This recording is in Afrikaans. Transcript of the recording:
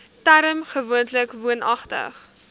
term gewoonlik woonagtig